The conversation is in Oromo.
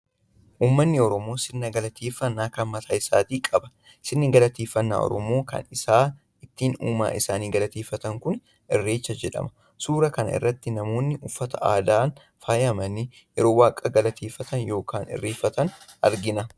Uummanni Oromoo sirna galateeffannaa kan mataa isaatii qaba. Sirni galateeffannaa Oromoo kan isaan ittiin uumaa isaanii galateeffatan kun 'Irreecha' jedhama. Suuraa kana irratti namoonni uffata aadaan faayamanii yeroo waaqa galateefan yookaan irreeffatan argina.